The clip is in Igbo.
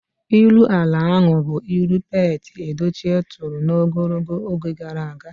Ilu ara ahụ bụ ilu Pete Edochie turu n'ogologo oge gara aga.